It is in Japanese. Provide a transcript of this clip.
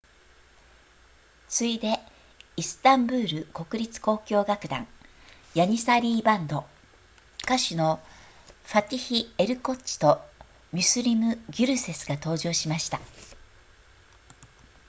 次いでイスタンブール国立交響楽団ヤニサリーバンド歌手のファティヒエルコッチとミュスルムギュルセスが登場しました